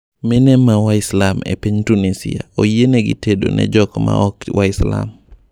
Mine ma waislam epiny Tunisia oyienegi tedo ne jok ma ok waislam.